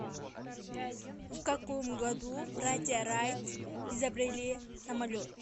в каком году братья райт изобрели самолет